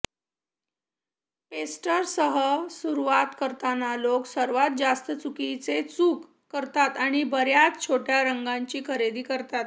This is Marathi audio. पेस्टर्ससह सुरूवात करतांना लोक सर्वात जास्त चुकीचे चूक करतात आणि बर्याच छोट्या रंगांची खरेदी करतात